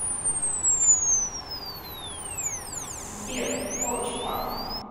сбер о чувак